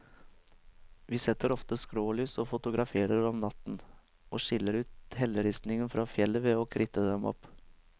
Vi setter ofte skrålys og fotograferer om natten, og skiller ut helleristningen fra fjellet ved å kritte dem opp.